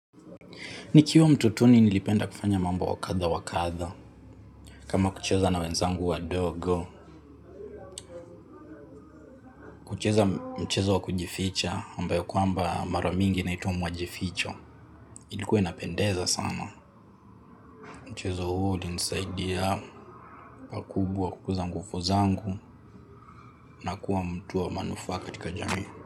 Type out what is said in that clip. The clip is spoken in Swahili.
Nikiwa mtotoni nilipenda kufanya mambo wa kadha wa kadha. Kama kucheza na wenzangu wadogo. Kucheza mchezo wa kujificha ambayo kwamba mara mingi inaitwa mwajificho. Ilikuwa inapendeza sana. Mchezo huo ulinisaidia pakubwa kukuza nguvu zangu, na kuwa mtu wa manufaa katika jamii.